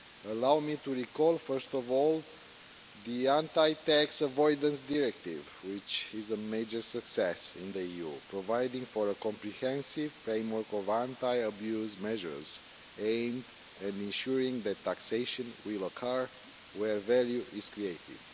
Allow me to recall first of all the Anti Tax Avoidance Directive, which is a major success in the EU, providing for a comprehensive framework of anti abuse measures aimed at ensuring that taxation will occur where value is created.